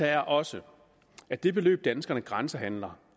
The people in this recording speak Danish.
er også at det beløb danskerne grænsehandler